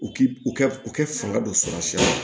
U k'i u kɛ u kɛ fanga dɔ sɔrɔ sira la